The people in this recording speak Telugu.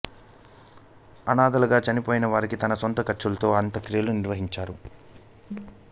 అనాథలుగా చనిపోయిన వారికి తన సొంత ఖర్చులతో అంత్యక్రియలు నిర్వహిస్తున్నాడు